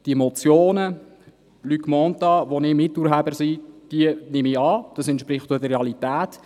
Die Motion Luc Mentha – wo ich Miturheber bin – nehmen wir an, das entspricht auch der Realität.